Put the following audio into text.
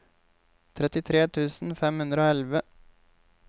trettitre tusen fem hundre og elleve